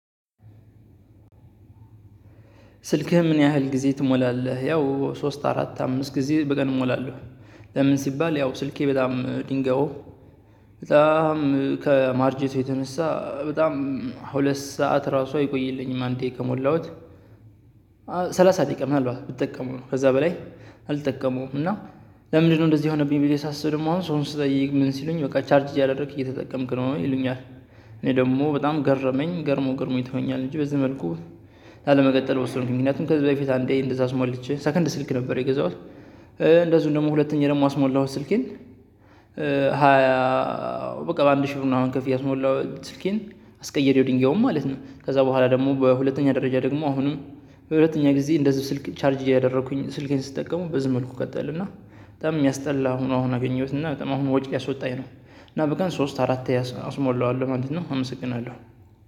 ስልክህን ምን ያህል ግዜ ትሞላለህ? ሶስት አራት አምስት ጊዜ እሞላለሁ። ለምን ሲባል ያው ስልኬ በጣም ድንጋዩ። በጣም ከማርጄቱ የተነሳ በጣም ሁለት ሰዓት ራሱ አይቆይልኝም አንደየ ከሞላሁት። ሰላሳ ደቂቃ ምናልባት ብጠቀመው ነው ከዛ በላይ አልጠቀመውም። እና ለምንድነው እንደዚህ የሆነብኝ ብየ ሳስብ አሁን ሰው ስጠይቅ ምን ሲሉኝ በቃ ቻርጅ እያደረክ እየተጠቀምክ ነው ይሉኛል። እኔ ደግሞ በጣም ገረመኝ ገረሞ ገረሞ ይተወኛል እንጂ በዚህ መልኩ ላለመቀጠል ወሰንኩኝ። ምክንያቱም ከዚህ በፊት አንዴ እንደዛ አስሞልቼ ሰከንድ ስልክ ነበር የገዛሁት። እንደዚሁም ደግሞ ሁለተኛ ደግሞ አስሞላሁት ስልኬን ሃያ በቃ በአንድ ሺህ አሁን ከፍየ አስሞላሁት ስልኬን አስቀየሪው ድንጋዩን ማለት ነው። ከዛ በኋላ ደግሞ በሁለተኛ ደረጃ ደግሞ አሁንም። በሁለተኛ ጊዜ እንደዚህ ስልክ ቻርጅ ያደረኩኝ ስልኬን ስትጠቀሙ በዝህ መልኩ ቀጠል እና በጣም የሚያስጠላ ሆኖ አሁን አገኘሁት እና በጣም አሁን ወጪ ሊያስወጣኝ ነው። እና በቀን ሶስት አራት አስሞላዋለሁ ማለት ነው። አመሰግናለሁ።